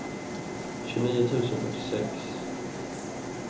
tjugonio tusen fyrtiosex